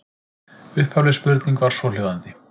Upphafleg spurning var svohljóðandi: